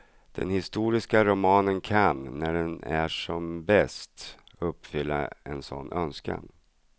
Den historiska romanen kan, när den är som bäst, uppfylla en sådan önskan.